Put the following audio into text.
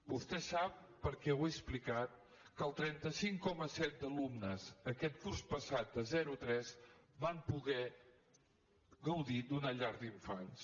vostè sap perquè ho he explicat que el trenta cinc coma set d’alumnes aquest curs passat de zero a tres van poder gaudir d’una llar d’infants